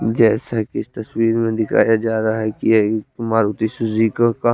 जेसा की इस तस्वीर में दिखाया जारा है की ये मारुती सुजुकी की का--